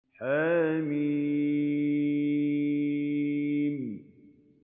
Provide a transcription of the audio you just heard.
حم